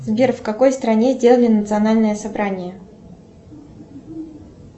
сбер в какой стране сделали национальное собрание